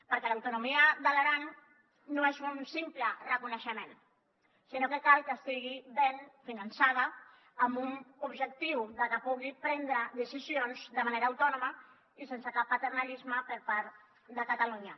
perquè l’autonomia de l’aran no és un simple reconeixement sinó que cal que estigui ben finançada amb un objectiu que pugui prendre decisions de manera autònoma i sense cap paternalisme per part de catalunya